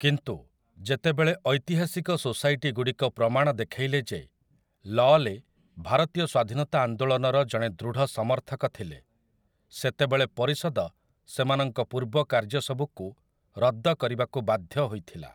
କିନ୍ତୁ, ଯେତେବେଳେ ଐତିହାସିକ ସୋସାଇଟିଗୁଡ଼ିକ ପ୍ରମାଣ ଦେଖେଇଲେ ଯେ ଲଅଲେ ଭାରତୀୟ ସ୍ୱାଧୀନତା ଆନ୍ଦୋଳନର ଜଣେ ଦୃଢ଼ ସମର୍ଥକ ଥିଲେ, ସେତେବେଳେ ପରିଷଦ ସେମାନଙ୍କ ପୂର୍ବ କାର୍ଯ୍ୟସବୁକୁ ରଦ୍ଦ କରିବାକୁ ବାଧ୍ୟ ହୋଇଥିଲା ।